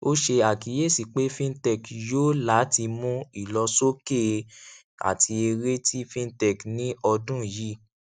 ó ṣe àkíyèsí pé fintech yòò láti mú ìlọsókè àti èré tí fintech ní ọdún yìí